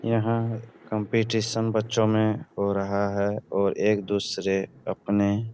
यहाँ कम्पटीशन बच्चों में हो रहा है और एक-दुसरे अपने --